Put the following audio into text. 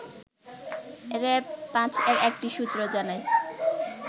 র‌্যাব-৫ এর একটি সূত্র জানায়